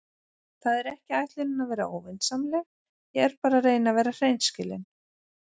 Það er ekki ætlunin að vera óvinsamleg, ég er bara að reyna að vera hreinskilin.